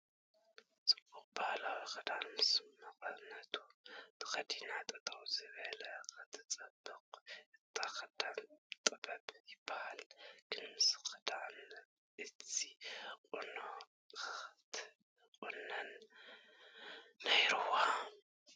ፅቡቕ ባህላዊ ክዳን ምስ መቐነቱ ተኸዲና ጠጠው ዝበለት ክትፅብቕ እቲ ኽዳን ጥበብ ይበሃል ግን ምስቲ ኽዳን እዚ ቑኖ ኽትቑነን ነይሩዋ ።